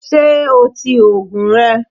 Ṣé o ti òògùn rẹ?